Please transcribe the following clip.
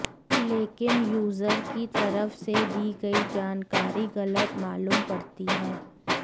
लेकिन यूजर की तरफ से दी गई जानकारी गलत मालूम पड़ती है